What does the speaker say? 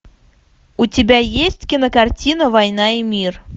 у тебя есть кинокартина война и мир